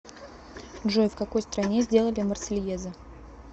джой в какой стране сделали марсельеза